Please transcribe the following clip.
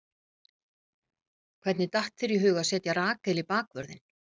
Hvernig datt þér í hug að setja Rakel í bakvörðinn?